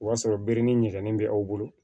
O y'a sɔrɔ bere ni ɲɛgɛn bɛ aw bolo